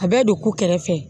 A bɛ don ku kɛrɛfɛ